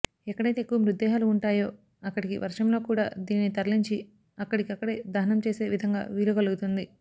ఎక్కడైతే ఎక్కువ మృతదేహాలు ఉంటాయో అక్కడికి వర్షంలో కూడా దీనిని తరలించి అక్కడికక్కడే దహనం చేసే విధంగా వీలు కలుగుతుంది